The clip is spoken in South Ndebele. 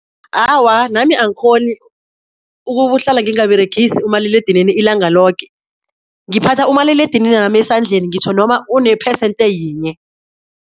Awa, nami angikghoni ukuhlala ngingaberegisi umaliledinini ilanga loke, ngiphatha umaliledininami esandleni ngitjho noma unephesente yinye.